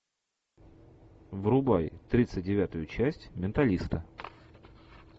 врубай тридцать девятую часть менталиста